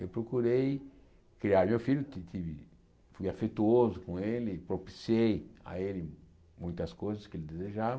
Eu procurei criar meu filho, fui afetuoso com ele, propiciei a ele muitas coisas que ele desejava.